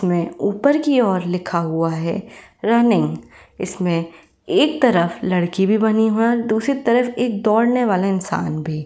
में ऊपर की ओर लिखा हुआ है रनिंग इसमें एक तरफ लड़की भी बनी हुई है और दूसरी तरफ एक दौड़ने वाला इंसान भी।